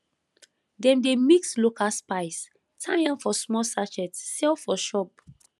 dem dey mix local spice tie am for small sachet sell for shop